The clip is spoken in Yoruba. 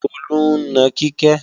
Tolú ń na Kíkẹ́